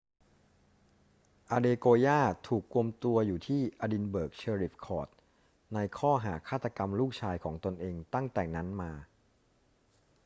adekoya ถูกกุมตัวอยู่ที่ edinburgh sheriff court ในข้อหาฆาตกรรมลูกชายของตนเองตั้งแต่นั้นมา